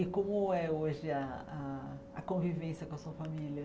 E como é hoje a a a convivência com a sua família?